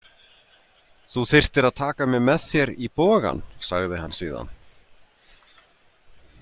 Þú þyrftir að taka mig með þér í bogann, sagði hann síðan.